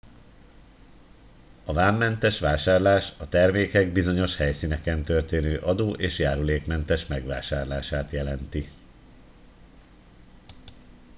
a vámmentes vásárlás a termékek bizonyos helyszíneken történő adó és járulékmentes megvásárlását jelenti